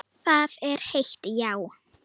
Það er heitt, já.